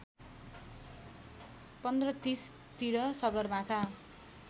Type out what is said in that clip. १५३० तिर सगरमाथा